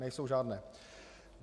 Nejsou žádné.